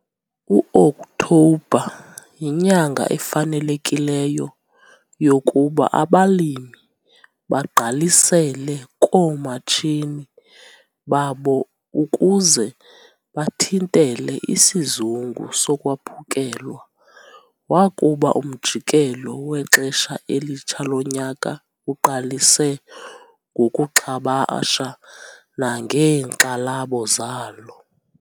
U-Oktobha yinyanga efanelekileyo yokuba abalimi bagqalisele koomatshini babo ukuze bathintele "isizungu sokwaphukelwa" wakuba umjikelo wexesha elitsha lonyaka uqalise ngokuxhabasha nangeenkxalabo zalo.